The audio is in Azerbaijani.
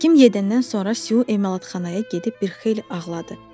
Həkim gedəndən sonra Siyu emalatxanaya gedib bir xeyli ağladı.